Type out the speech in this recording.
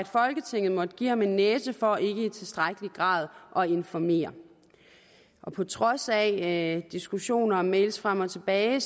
folketinget måtte give ham en næse for ikke i tilstrækkelig grad at informere på trods af diskussioner og e mails frem og tilbage